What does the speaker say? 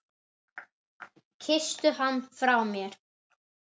Kysstu hann frá mér.